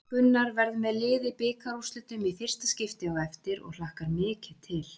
Gunnar verður með lið í bikarúrslitum í fyrsta skipti á eftir og hlakkar mikið til.